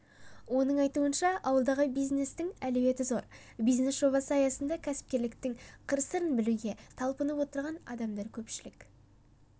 оның айтуынша ауылдағы бизнестің әлеуеті зор бизнес жобасы аясында кәсіпкерліктің қыр-сырын білуге талпынып отырған адамдар көпшілік